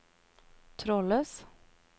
trådløs